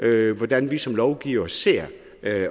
i hvordan vi som lovgivere ser